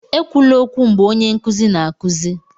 ekwula okwu mgbe onye nkuzi na-akụzi!